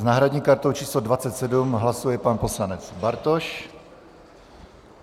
s náhradní kartou číslo 27 hlasuje pan poslanec Bartoš.